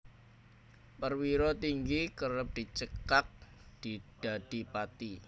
Perwira Tinggi kerep dicekak dadi Pati